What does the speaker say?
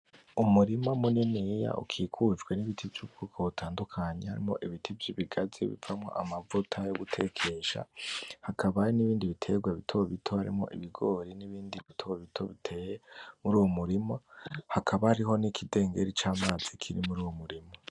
Umurima muniniya ukikujwe n'ibiti vy'ubwoko butandukanye harimwo ibiti vy'ibigazi bivamwo amavuta yo gutekesha, hakaba hari n'ibindi bitegwa bito bito, harimwo ibigori, n'ibindi bito bito biteye mur'uyo murima, hakaba hariho n'ikidengeri c'amazi kiri mur'uwo murima.